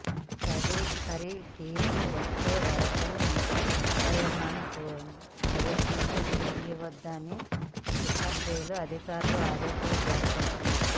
తదుపరి తీర్పు వచ్చే వరకు నిర్భయ దోషులను ఉరి తీయవద్దని తీహార్ జైలు అధికారులకు ఆదేశాలు జారీ చేసింది